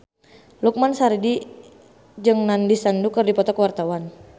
Lukman Sardi jeung Nandish Sandhu keur dipoto ku wartawan